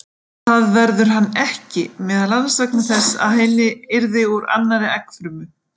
Það verður hann ekki, meðal annars vegna þess að hann yrði úr annarri eggfrumu.